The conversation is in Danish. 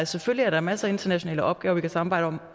selvfølgelig er der masser af internationale opgaver vi kan samarbejde om